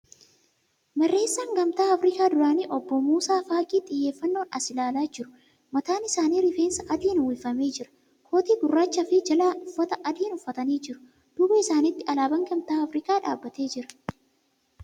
Barreessaa gamtaa Afrikaa duraanii obbo Muusaa Faaqii xiyyeeffannoon as ilaalaa jiru. Mataan isaanii rifeensa adiin uwwifamee jira. Kootii gurraachaa fi jalaa uffata adiin uffatanii jiru. Duuba isaanitti alaabaan gamtaa Afrikaa dhaabbatee jira.